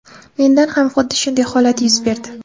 Menda ham xuddi shunday holat yuz berdi.